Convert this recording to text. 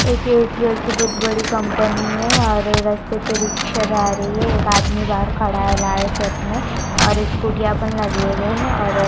एक ये एयरटेल की बहुत बड़ी कंपनी है और रस्ते पे रिक्शा जा रही है एक आदमी बहार खड़ा है लाल शर्ट में और स्कूटी यह पर लगे हुए है।